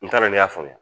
N t'a dɔn ne y'a faamuya